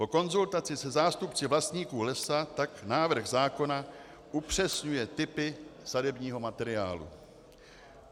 Po konzultaci se zástupci vlastníků lesa tak návrh zákona upřesňuje typy sadebního materiálu.